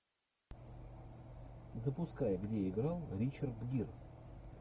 запускай где играл ричард гир